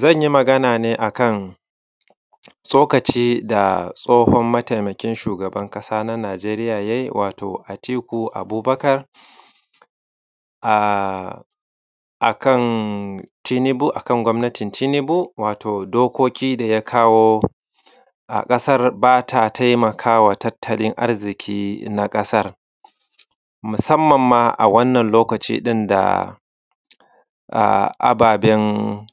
Zan yi magana ne akan tsokaci da tsohon mataimakin shugaban ƙasa na Najeriya ya yi wato Atiku Abubakar akan Tunubu akan gwamnatin Tunubu wato dokoki da ya kawo a ƙasar ba ta taimakawa tattalin arziki na ƙasan musamman ma waannan lokaci ɗin da ababen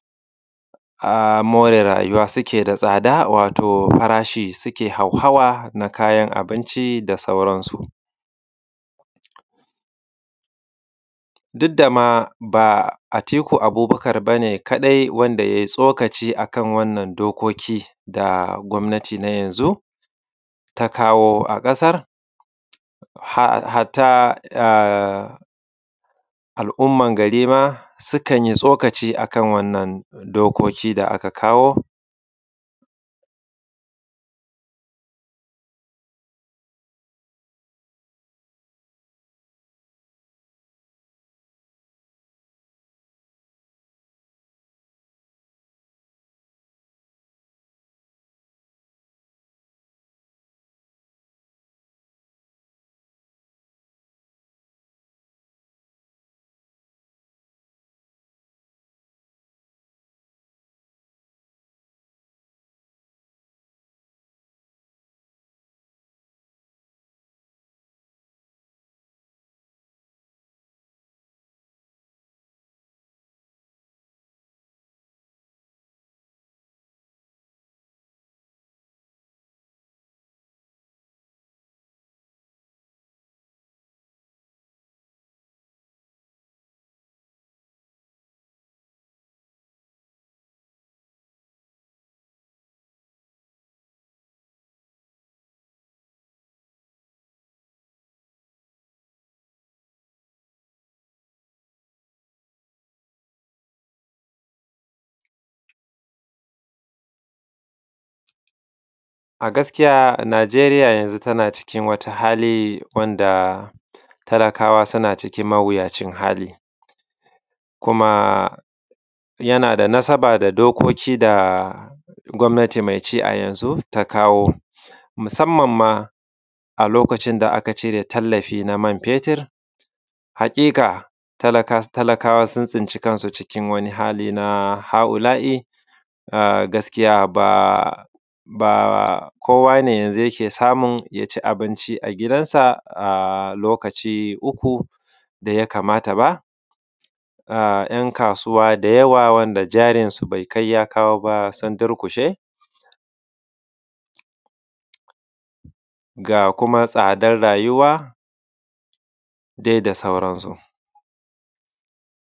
more rayuwa suke da tsada wato farashi suke hauhawa na kayan abinci da sauransu. Duk da ma ba Atiku Abubakar ba ne kaɗai wanda ya yi tsokaci akan wannan dokoki da wannan gwamnati na yanzun ta kawo a ƙasar, hatta al’umman gari ma sukan yi tsokaci ma akan wannan dokokin ma da aka kawo. A gaskiya Najeriya yazun tana cikin wani hali wanda talakawa suna cikin mawuyacin hali kuma yana da nasaba da dokokin da gwamnati mai ci a yanzu ta kawo musamman ma a lokacin da aka cire tallafi na man fetir. Haƙiƙa talakawa sun tsinci kansu cikin wani hali na ha’ula’I, gaskiya ba kowa ne yanzun yake samu ya ci abinci a gidansa a lokaci uku da ya kamaata ba ‘yan kasuwa da yawa wanda jarinsu bai kai ya kawo ba sun durƙushe ga kuma tsadar rayuwa dai da sauransu.